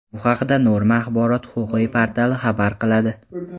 Bu haqda Norma Axborot-huquqiy portali xabar qiladi .